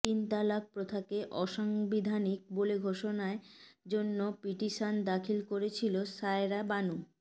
তিন তালাক প্রথাকে অসাংবিধানিক বলে ঘোষণার জন্য পিটিশন দাখিল করেছিলেন শায়রা বানু